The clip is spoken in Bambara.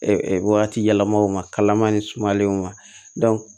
wagati yɛlɛmaw ma kalama ni sumalenw ma